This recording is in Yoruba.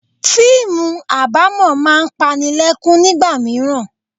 Fíìmù abamo máa ń panilekun nígbà mìíràn.